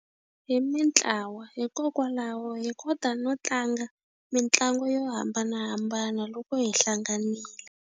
Hi mitlawa hikokwalaho hi kota no tlanga mitlangu yo hambanahambana loko hi hlanganile.